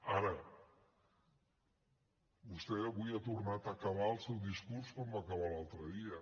ara vostè avui ha tornat a acabar el seu discurs com va acabar l’altre dia